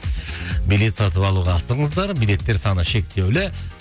билет сатып алуға асығыңыздар билеттер саны шектеулі